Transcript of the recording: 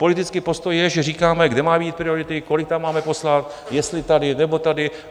Politický postoj je, že říkáme, kde mají být priority, kolik tam máme poslat, jestli tady, nebo tady.